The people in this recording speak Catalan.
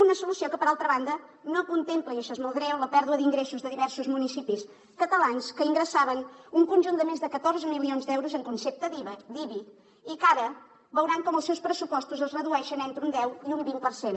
una solució que per altra banda no contempla i això és molt greu la pèrdua d’ingressos de diversos municipis catalans que ingressaven un conjunt de més de catorze milions d’euros en concepte d’ibi i que ara veuran com els seus pressupostos es redueixen entre un deu i un vint per cent